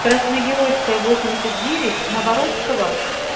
красногеройская восемьдесят девят на воровского